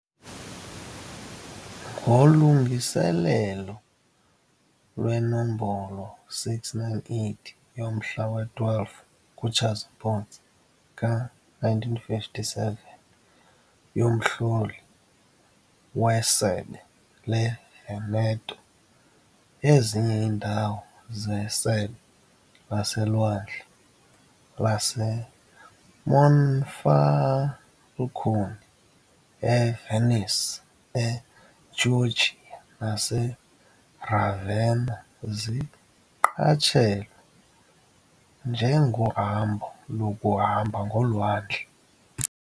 Ngolungiselelo lwenombolo 698 yomhla we-12 kuTshazimpuzi ka-1957 yoMhloli weSebe leVeneto, ezinye iindawo zeSebe laseLwandle laseMonfalcone, eVenice, eChioggia naseRavenna zaqatshelwa njengohambo lokuhamba ngolwandle.